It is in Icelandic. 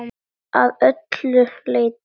Að öllu leyti.